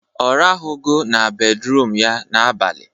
Ọ rahụghọ na bedruum ya n'abalị